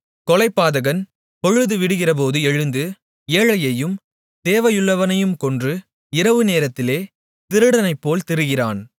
கொலைபாதகன் பொழுது விடிகிறபோது எழுந்து ஏழையையும் தேவையுள்ளவனைக் கொன்று இரவுநேரத்திலே திருடனைப்போல் திரிகிறான்